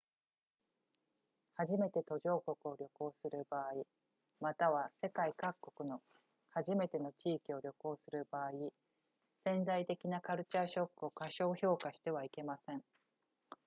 初めて途上国を旅行する場合または世界各国の初めての地域を旅行する場合潜在的なカルチャーショックを過小評価してはいけません